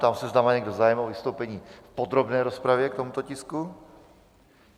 Ptám se, zda má někdo zájem o vystoupení v podrobné rozpravě k tomuto tisku.